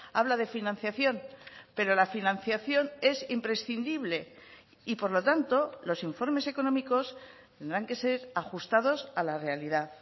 habla de financiación pero la financiación es imprescindible y por lo tanto los informes económicos tendrán que ser ajustados a la realidad